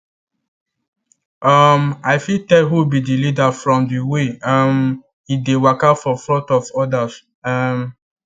um i fit tell who be the leaderfrom the way um e dey waka for front of others um